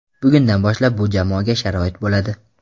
Bugundan boshlab bu jamoaga sharoit bo‘ladi.